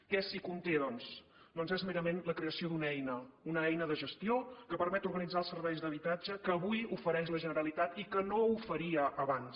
què conté doncs doncs és merament la creació d’una eina una eina de gestió que permet organitzar els serveis d’habitatge que avui ofereix la generalitat i que no oferia abans